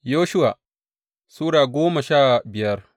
Yoshuwa Sura goma sha biyar